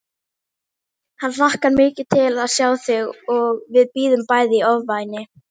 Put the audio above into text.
Hann hlakkar mikið til að sjá þig og við bíðum bæði í ofvæni